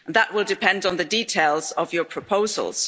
that will depend on the details of your proposals.